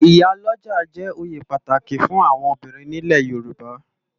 Iyá lòjá jè óyé pàtáki fún áwòn óbirin ni ilè Yoruba